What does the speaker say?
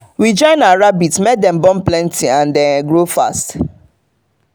we join our rabbit make dem born plenty and grow fast.